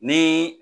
Ni